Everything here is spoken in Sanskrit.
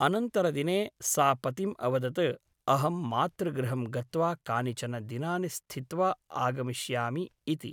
अनन्तरदिने सा पतिम् अवदत् अहं मातृगृहं गत्वा कानिचन दिनानि स्थित्वा आगमिष्यामि इति ।